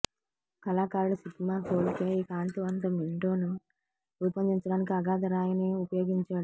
కళాకారుడు Sigmar Polke ఈ కాంతివంతం విండోను రూపొందించడానికి అగాధ రాయిని ఉపయోగించాడు